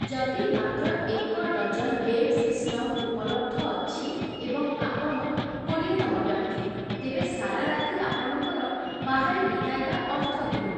ଯଦି ମାତ୍ର ଏକ ଡଜନ ଗେମ୍ ସିଷ୍ଟମ ଉପଲବ୍ଧ ଅଛି ଏବଂ ଆପଣ କୋଡ଼ିଏ ତମବ୍ୟକ୍ତି, ତେବେ ସାରା ରାତି ଆପଣଙ୍କର ବାହାରେ ବିତାଇବା ଅର୍ଥହୀନ ।